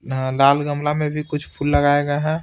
नह लाल गमला में भी कुछ फूल लगाया गया है।